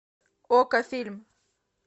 окко фильм